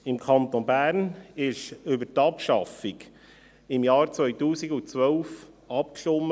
Im Kanton Bern wurde über die Abschaffung im Jahr 2012 abgestimmt.